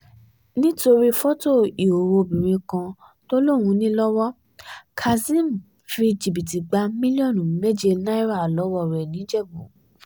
nítorí fọ́tò ìhòòhò obìnrin kan tó lóun ní lọ́wọ́ kazeem fi jìbìtì gba mílíọ̀nù méje náírà lọ́wọ́ rẹ̀ nìjẹ̀bù